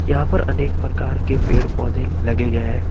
यहां पर अनेक प्रकार के पेड़ पौधे लगे गए हैं।